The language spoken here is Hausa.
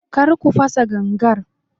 Kar ku fasa gangar.